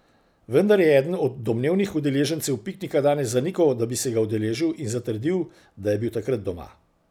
Vendar je eden od domnevnih udeležencev piknika danes zanikal, da bi se ga udeležil in zatrdil, da je bil takrat doma.